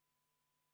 Rene Kokk, palun!